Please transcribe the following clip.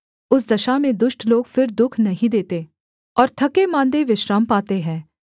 उस दशा में दुष्ट लोग फिर दुःख नहीं देते और थकेमाँदे विश्राम पाते हैं